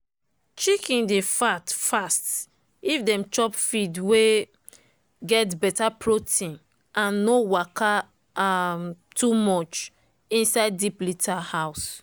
chicken dey fat fast if dem chop feed wey get better protein and no waka um too much inside deep litter house.